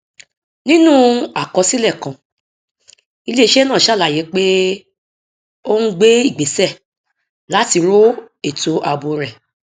nínú àkọsílẹ kan iléiṣẹ náà sàlàyé pé ó ń gbé ìgbésẹ láti ro ètò ààbò rẹ